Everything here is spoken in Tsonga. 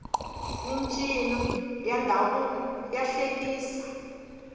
mincino ya ndhavuko ya hlekisa